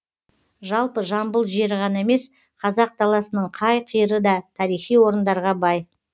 жалпы жамбыл жері ғана емес қазақ даласының қай қиыры да тарихи орындарға бай